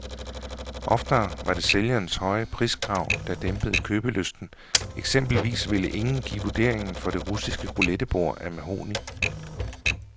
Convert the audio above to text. Oftere var det sælgerens høje priskrav, der dæmpede købelysten, eksempelvis ville ingen give vurderingen for det russiske roulettebord af mahogni.